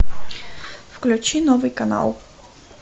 включи новый канал